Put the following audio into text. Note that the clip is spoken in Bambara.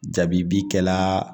Jabibi kɛla